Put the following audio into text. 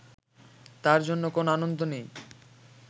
তার জন্য কোনো আনন্দ নেই